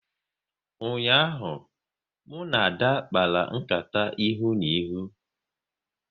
Ụnyaahụ, mụ na Ada kpara nkata ikuku ihu na ihu